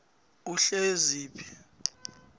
uhleziphi